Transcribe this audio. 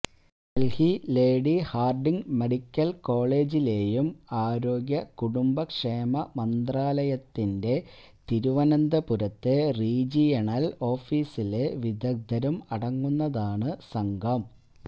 Delhi Lady Hardinge medical കോളേജിലേയും ആരോഗ്യ കുടുംബക്ഷേമ മന്ത്രാലയത്തിന്റെ തിരുവനന്തപുരത്തെ റീജിയണല് ഓഫീസിലെ വിദഗ്ധരും അടങ്ങുന്നതാണ് സംഘം